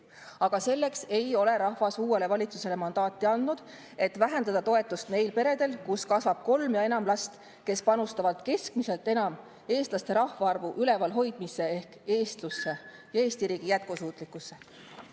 Aga rahvas ei ole andnud uuele valitsusele mandaati selleks, et vähendada toetust neil peredel, kus kasvab kolm või enam last ning kes panustavad keskmiselt enam eestlaste rahvaarvu ülevalhoidmisse ehk eestlusse ja Eesti riigi jätkusuutlikkusse.